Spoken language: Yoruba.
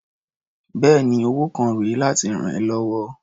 Bẹ́ẹ̀ni, owó kan rè é láti rà ẹ́ lọ́wọ́.